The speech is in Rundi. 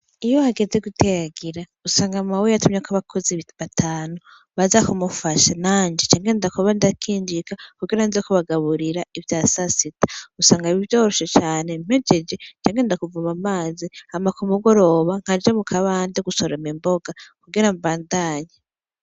Iyo hageze guteragira usanga mawe yatumyeko abakozi batanu baza kumufasha nanje ca ngenda kuba ndakinjika kugira nze kubagaburira ivya sasita usanga vyoroshe cane mpejeje ca ngenda kuvoma amazi hama kumugoroba nkaja mukabande gusoroma imboga kugira mbandanye.